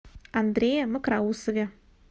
андрее мокроусове